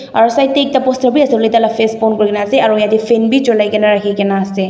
aru side te poster bhi asele tar laga face pon kori ase aru jatte fan bhi cholai kina ahe kina ase.